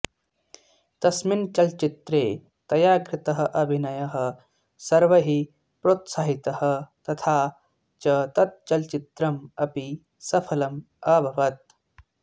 तस्मिन् चलच्चित्रे तया कृतः अभिनयः सर्वैः प्रोत्साहितः तथा च तत् चलच्चित्रम् अपि सफलम् अभवत्